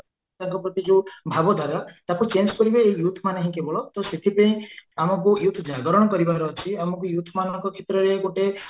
ତାଙ୍କ ପ୍ରତି ଯୋଉ ଭାବ ଧାରା ତାକୁ change କରିବେ ଏଇ youth ମାନେ ହିଁ କେବଳ ତ ସେଥିପାଇଁ ଆମକୁ youth ଜାଗରଣ କରିବାର ଅଛି ଆମକୁ youth ମାନଙ୍କ କ୍ଷେତ୍ରରେ ଗୋଟେ